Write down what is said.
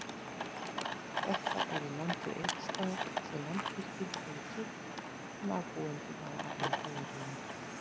Þetta er í landi Eiðsstaða, sem Landsvirkjun hefur keypt, en ábúendur hafa afnot af jörðinni.